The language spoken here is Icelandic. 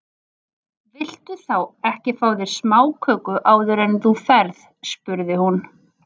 Viltu þá ekki fá þér smáköku áður en þú ferð spurði hún.